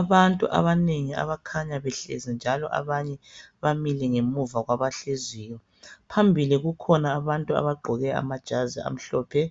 Abantu abanengi, abakhanya behlezi, njalo abanye bamile ngemuva kwabahleziyo. Phambili kukhona abantu abagqoke amajazi amhlophe.